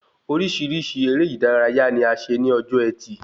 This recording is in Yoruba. Orísirísi eré ìdárayá ni a ṣe ní ọjọ ẹtì